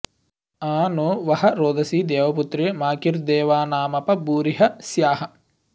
आ नो॑ वह॒ रोद॑सी दे॒वपु॑त्रे॒ माकि॑र्दे॒वाना॒मप॑ भूरि॒ह स्याः॑